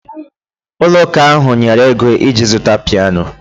Ụlọ ụka ahụ nyere ego iji zụta piano